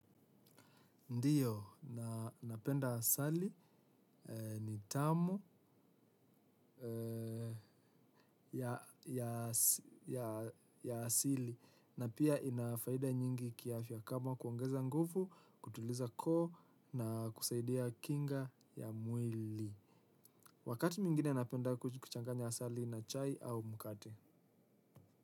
Ndiyo, na napenda asali ni tamu ya asili na pia ina faida nyingi kiafya kama kuongeza nguvu, kutuliza koo na kusaidia kinga ya mwili. Wakati mwingine napenda kuchanganya asali na chai au mkate.